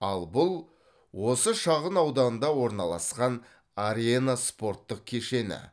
ал бұл осы шағын ауданда орналасқан арена спорттық кешені